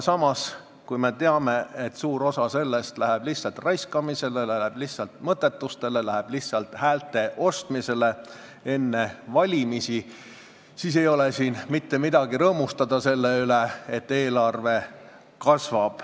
Samas, kui me teame, et suur osa sellest eelarve kasvust läheb lihtsalt raiskamisele, lihtsalt mõttetustele ja lihtsalt häälte ostmisele enne valimisi, siis ei ole siin ju mitte midagi rõõmustada.